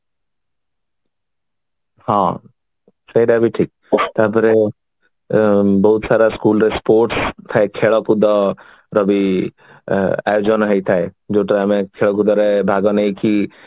ହଁ ସେଇଟା ବି ଠିକ ତାପରେ ବହୁତ ସାରା school days ବହୁତ ଖେଳ କୁଦର ବି ଆୟୋଜନ ହେଇଥାଏ ଯୋଉଥିରେ ଆମେ ଖେଳ କୁଦରେ ଭାଗ ନେଇକି